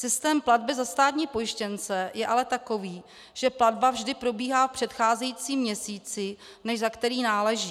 Systém platby za státní pojištěnce je ale takový, že platba vždy probíhá v předcházejícím měsíci, než za který náleží.